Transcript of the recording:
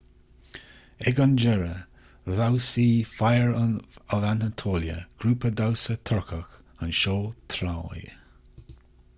ag an deireadh dhamhsaigh fire of anatolia grúpa damhsa turcach an seó troy